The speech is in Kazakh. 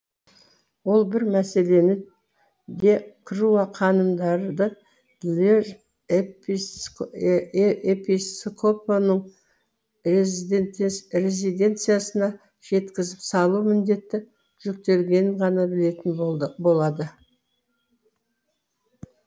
ол бір мәселені де круа ханымдарды льеж эпископының резиденциясына жеткізіп салу міндеті жүктелгенін ғана білетін болады